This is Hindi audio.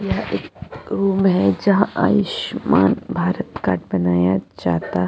यह एक रूम है जहाँ आयुष्मान भारत कार्ड बनाया जाता --